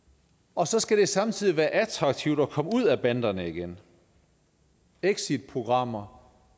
og så skal det samtidig være attraktivt at komme ud af banderne igen exitprogrammer